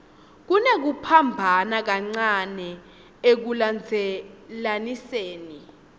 kunekuphambana kancane ekulandzelaniseni